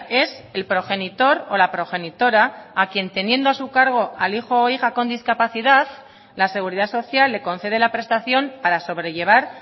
es el progenitor o la progenitora a quien teniendo a su cargo al hijo o hija con discapacidad la seguridad social le concede la prestación para sobrellevar